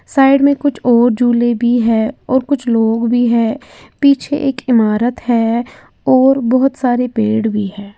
Side में कुछ और झूले भी है और कुछ लोग भी है पीछे एक इमारत है और बोहोत सारे पेड़ भी है।